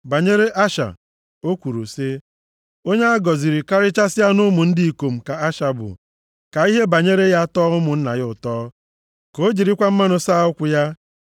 Banyere Asha, o kwuru sị, “Onye a gọziri karịchasịa nʼụmụ ndị ikom ka Asha bụ, ka ihe banyere ya tọọ ụmụnna ya ụtọ, ka o jirikwa mmanụ + 33:24 Mmanụ bụ ihe ngosi na mmadụ bụ ọgaranya nʼọrụ ubi, nke kachasị, ọ bụrụ na onye dị otu a na-akọ mkpụrụ oliv nke e si na ya emepụta mmanụ. \+xt Jen 49:20; Job 29:6.\+xt* saa ụkwụ ya.